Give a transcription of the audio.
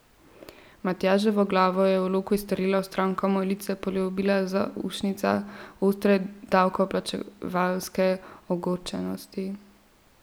Matjaževo glavo je v loku izstrelilo vstran, ko mu je lice poljubila zaušnica ostre davkoplačevalske ogorčenosti.